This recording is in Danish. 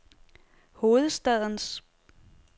hovedstadens